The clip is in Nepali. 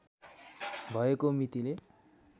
भएको मितिले